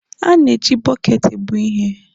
A na-eji bọket ebu ihe.